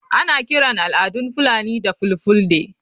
Ana kiran al'adun fulani da ''fulfulde''